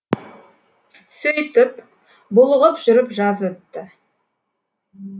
сөйтіп булығып жүріп жаз өтті